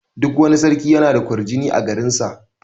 Duk wani sarki yana da ƙwarjini a garin sa.